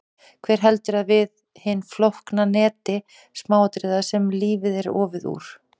Hver heldur við hinu flókna neti smáatriða sem lífið er ofið úr?